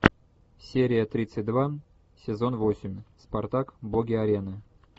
серия тридцать два сезон восемь спартак боги арены